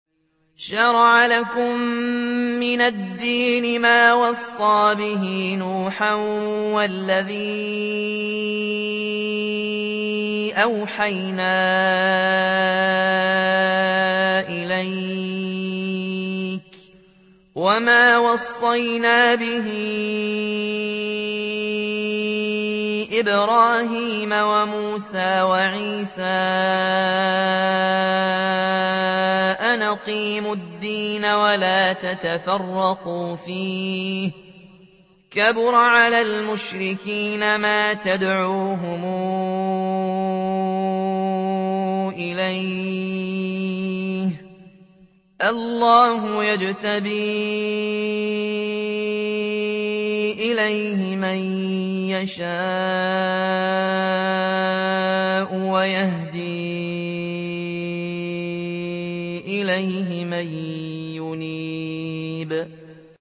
۞ شَرَعَ لَكُم مِّنَ الدِّينِ مَا وَصَّىٰ بِهِ نُوحًا وَالَّذِي أَوْحَيْنَا إِلَيْكَ وَمَا وَصَّيْنَا بِهِ إِبْرَاهِيمَ وَمُوسَىٰ وَعِيسَىٰ ۖ أَنْ أَقِيمُوا الدِّينَ وَلَا تَتَفَرَّقُوا فِيهِ ۚ كَبُرَ عَلَى الْمُشْرِكِينَ مَا تَدْعُوهُمْ إِلَيْهِ ۚ اللَّهُ يَجْتَبِي إِلَيْهِ مَن يَشَاءُ وَيَهْدِي إِلَيْهِ مَن يُنِيبُ